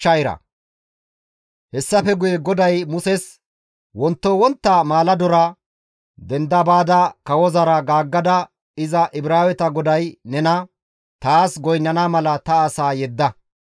Hessafe guye GODAY Muses, «Wonto wontta maaladora denda baada kawozara gaaggada iza Ibraaweta GODAY nena, ‹Taas goynnana mala ta asaa yedda.